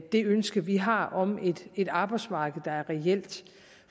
det ønske vi har om et arbejdsmarked der er reelt